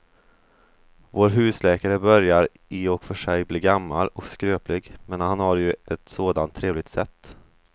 Vår husläkare börjar i och för sig bli gammal och skröplig, men han har ju ett sådant trevligt sätt!